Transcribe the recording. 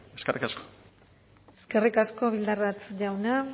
eskerrik asko eskerrik asko bildarratz jauna